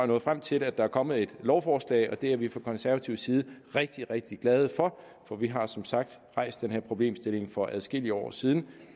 nået frem til at der er kommet et lovforslag og det er vi fra konservativ side rigtig rigtig glade for for vi har som sagt rejst den her problemstilling for adskillige år siden